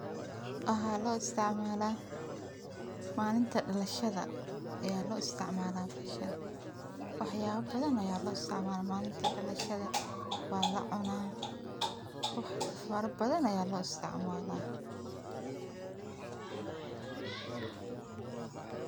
Waxaa lo isticmalah malinta dalashada ayaa lo isticmala bahashan. Wax yala bathan ayaa lo isticmala malinta dalashada, wa lacunah, wax fara bathan ayaa lo isticmalah.